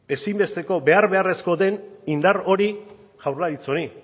ezinbesteko behar beharrezko den indar hori jaurlaritza honi